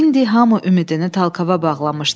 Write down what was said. İndi hamı ümidini Talkava bağlamışdı.